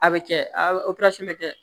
A bɛ kɛ a bɛ kɛ